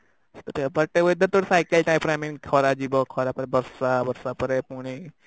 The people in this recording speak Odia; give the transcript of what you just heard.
but weather ତ cycle type ର I mean ଖରା ଯିବ ଖରା ପରେ ବର୍ଷା ବର୍ଷା ପରେ ପୁଣି